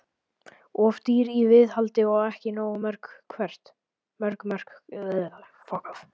Of dýr í viðhaldi og ekki nógu mörg mörk Hvert?